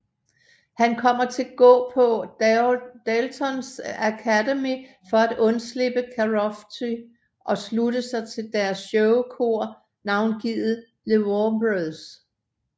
Han kommer til gå på Dalton Academy for at undslippe Karofsky og slutter sig til deres showkor navngivet The Warblers